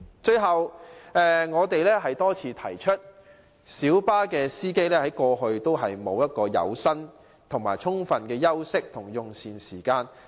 最後，我們多次指出，小巴司機一直未能享有充分的有薪休息連用膳時間。